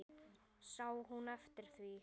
Sá hún eftir því?